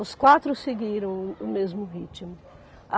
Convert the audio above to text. Os quatro seguiram o o mesmo ritmo.